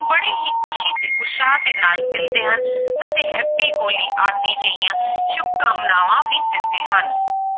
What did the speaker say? ਬੜੇ ਹੀ ਖ਼ੁਸ਼ੀ ਤੇ ਉਤਸ਼ਾਹ ਦੇ ਨਾਲ ਮਿਲਦੇ ਹਨ ਅਤੇ happy ਹੋਲੀ ਆਦਿ ਜਿਹੀਆਂ ਸ਼ੁਭਕਾਮਨਾਵਾਂ ਵੀ ਦਿੰਦੇ ਹਨ।